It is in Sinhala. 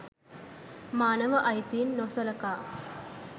මානව අයිතීන් නොසලකා